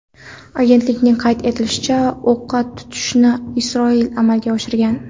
Agentlikning qayd etishicha, o‘qqa tutishni Isroil amalga oshirgan.